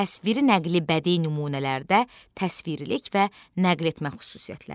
Təsviri nəqli bədii nümunələrdə təsvirlik və nəql etmə xüsusiyyətləri.